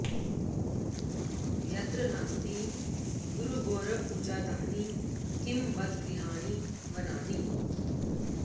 यत्र नास्ति गुरुगौरवपूजा तानि किं बत गृहाणि वनानि